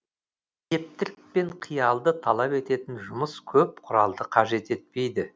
ептілік пен қиялды талап ететін жұмыс көп құралды қажет етпейді